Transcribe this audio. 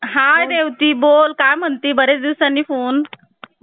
घटनेचा आता आपण जे घटना निर्मितीमध्ये जो पुढील काही भाग शिल्लक राहिलेला आहे त्याचा अभ्यास करूया.